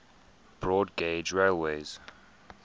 broad gauge railways